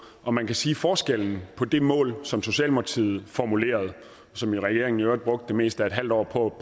og man kan sige at forskellen på det mål som socialdemokratiet formulerede og som regeringen i øvrigt brugte det meste af et halvt år på